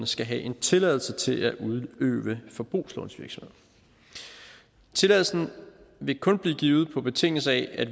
skal have en tilladelse til at udøve forbrugslånsvirksomhed tilladelsen vil kun blive givet på betingelse af